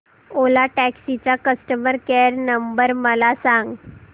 ओला taxi चा customer care number मला सांग